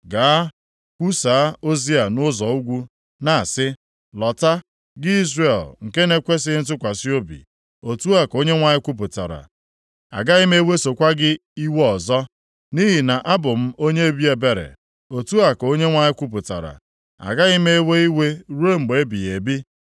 Gaa, kwusaa ozi a nʼụzọ ugwu, na-asị, “ ‘Lọta, gị Izrel nke na-ekwesighị ntụkwasị obi,’ otu a ka Onyenwe anyị kwupụtara, ‘Agaghị m ewesokwa gị iwe ọzọ, nʼihi na abụ m onye obi ebere,’ otu a ka Onyenwe anyị kwupụtara, ‘Agaghị m ewe iwe ruo mgbe ebighị ebi.